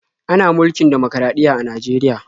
Ana mulkin dimokuraɗiyya a Najeriya.